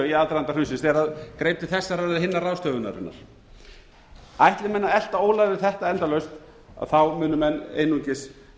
í aðdraganda hrunsins þegar það greip til þessarar eða hinnar ráðstöfunarinnar ætli menn að elta ólar við þetta endalaust munu menn einungis